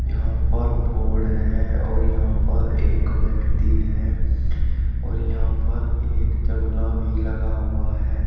यहां पर बोर्ड है और यहां पर एक व्यक्ति है और यहां पर एक जंगला भी लगा हुआ है।